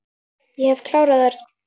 Ég hef klárað Örn.